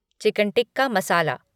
chicken tikka मसाला